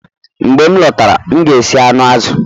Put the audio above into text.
Mgbe m lọtara, m ga-esi anụ azụ